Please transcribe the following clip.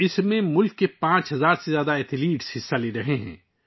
اس میں ملک کے 5 ہزار سے زائد ایتھلیٹس حصہ لے رہے ہیں